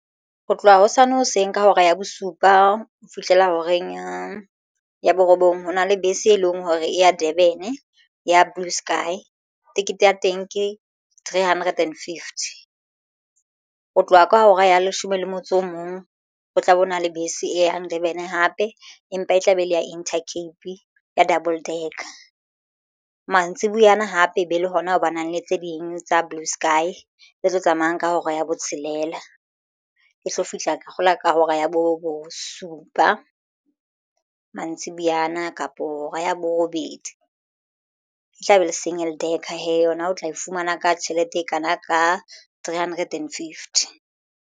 Ho tloha hosane hoseng ka hora ya bosupa ho fihlela horeng ya borobong hona le bese e leng hore e ya Durban ya Blue Sky. Tekete ya teng ke three hundred and fifty. Ho tloha ka hora ya leshome le motso o mong o tla be o na le bese e yang Durban hape empa e tla be e le ya Inter Cape ya double ducker. Mantsibuyana hape e be le hona ho ba nang le tse ding tsa Blue Sky tse tlo tsamayang ka hora ya botshelela e tlo fihla ka kgola ka hora ya bo supa mantsibuyana kapo hora ya borobedi e tla be le singel ducker hee yona o tla e fumana ka tjhelete e kana ka three hundred and fifty.